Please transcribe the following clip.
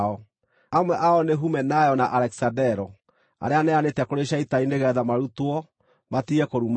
Amwe ao nĩ Humenayo, na Alekisandero, arĩa neanĩte kũrĩ Shaitani nĩgeetha marutwo, matige kũruma Ngai.